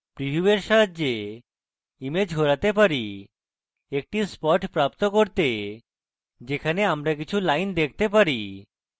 প্রীভিউয়ের সাহায্যে আমি image ঘোরাতে পারি একটি spot প্রাপ্ত করতে যেখানে আমরা কিছু lines দেখতে পারি